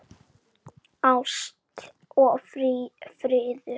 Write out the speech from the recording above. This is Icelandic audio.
Ást og friður.